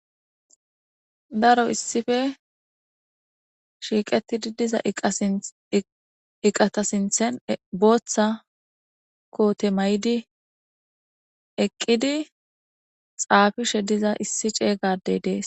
Daro issippe shiqetidi diza eqa sintha botha kotte mayidi eqidi xafishe diza issi cega Adey dees